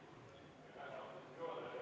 Aitäh, austatud juhataja!